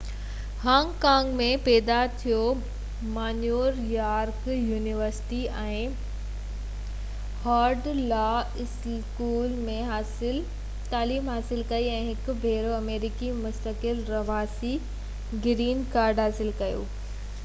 Hong Kong ۾ پيدا ٿيو ما New York University ۽ Harvard law school ۾ تعليم حاصل ڪئي ۽ هڪ ڀيرو آمريڪي مستقل رهواسي گرين ڪارڊ حاصل ڪيو